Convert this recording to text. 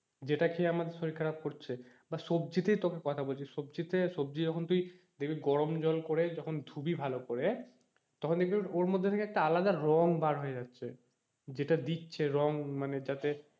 যেটা খেয়ে আমাদের শরীর খারাপ করছে। বা সবজিতেই তোকে কথা বলছি সবজিতে সবজি যখন তুই দেখবি গরম জল করে যখন ধুবি ভালো করে তখন দেখবি ওর মধ্যে থেকে একটা আলাদা রঙ বার হয়ে যাচ্ছে যেটা দিচ্ছে রঙ যাতে,